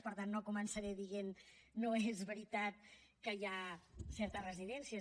per tant no començaré dient no és veritat que hi hagi certes residències